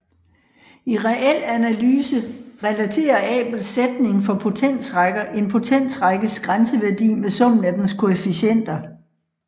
I reel analyse relaterer Abels sætning for potensrækker en potensrækkes grænseværdi med summen af dens koefficienter